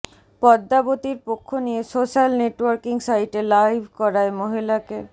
পদ্মাবতীর পক্ষ নিয়ে social networking সাইটে লাইভ করায় মহিলাকে